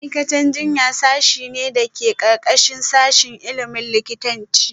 Ma’aikatan jinya sashe ne da ke ƙarƙashin sashin ilimin likitanci